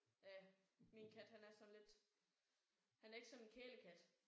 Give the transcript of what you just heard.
Ja. Min kat han er sådan lidt han er ikke sådan en kælekat